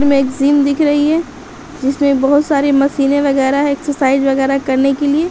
मे एक सीन दिख रही है जिसमे बहुत सारी मशीने वागेर है एक्सर्साइज़ वागेर करने के लिए ।